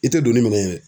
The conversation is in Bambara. I tɛ don ni minɛn ye